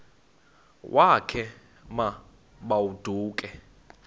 wakhe ma baoduke